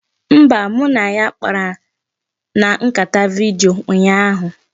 Mba, mụ na ya kpara na nkata vidiyo ụnyaahụ